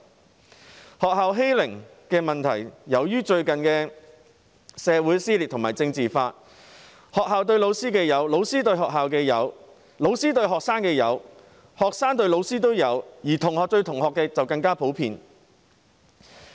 關於學校的欺凌問題，由於最近的社會撕裂和政治化，不論學校對老師、老師對學校、老師對學生以至學生對老師的欺凌情況都有出現，而同學對同學的欺凌就更為普遍。